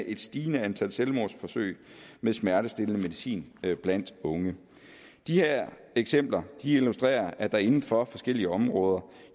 et stigende antal selvmordsforsøg med smertestillende medicin blandt unge de her eksempler illustrerer at der inden for forskellige områder